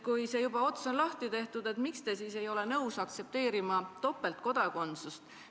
Kui see ots juba lahti on tehtud, siis miks te ei ole nõus aktsepteerima topeltkodakondsust?